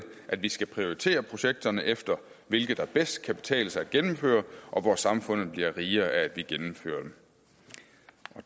at vi skal prioritere projekterne efter hvilke det bedst kan betale sig at gennemføre og hvor samfundet bliver rigere af at de gennemføres